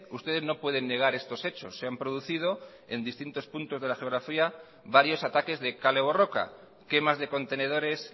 ustedes no pueden negar estos hechos se han producido en distintos puntos de la geografía varios ataques de kale borroka quemas de contenedores